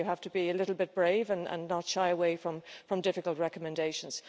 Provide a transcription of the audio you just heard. I think you have to be a little bit brave and not shy away from difficult recommendations.